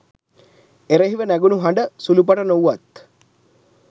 එරෙහිව නැගුණු හඬ සුළුපටු නොවූවත්